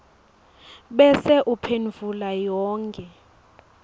bese uphendvula yonkhe